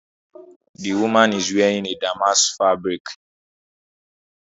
The woman is wearing a damask fabric